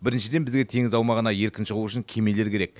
біріншіден бізге теңіз аумағына еркін шығу үшін кемелер керек